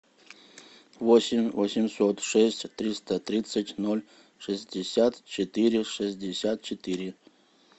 восемь восемьсот шесть триста тридцать ноль шестьдесят четыре шестьдесят четыре